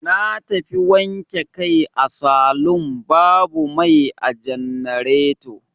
Na tafi wanke kai a salun babu mai a jannareto.